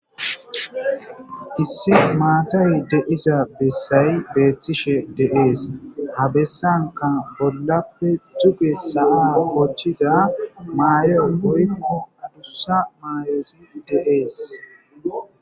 Issi matay de'za besay betishe de'es. Ha bessanka bollappe duge sa'a bochiza mayoy woykko adusa mayoy de'es.